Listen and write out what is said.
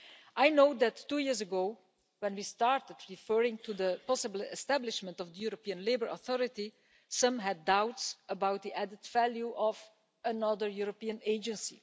I know that, two years ago, when we started referring to the possible establishment of the European Labour Authority, some had doubts about the added value of another European agency.